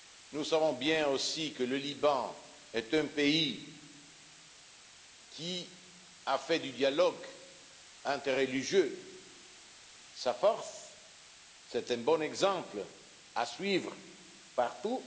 Nous savons bien aussi que le Liban est un pays qui a fait du dialogue interreligieux sa force, c'est un bon exemple à suivre partout.